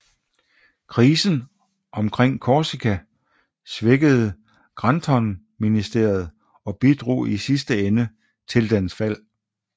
Krisen omkring Korsika svækkede Graftonministeriet og bidrog i sidste ende til dens fald